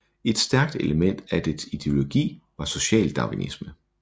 Et stærkt element af dets ideologi var socialdarwinisme